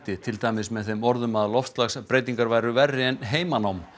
til dæmis með þeim orðum að loftslagsbreytingar væru verri en heimanám